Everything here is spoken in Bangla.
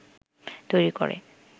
তৈরি করে